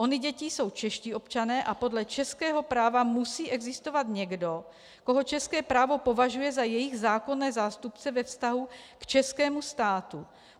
Ony děti jsou čeští občané a podle českého práva musí existovat někdo, koho české právo považuje za jejich zákonné zástupce ve vztahu k českému státu.